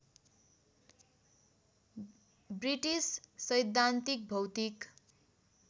British सैद्धान्तिक भौतिक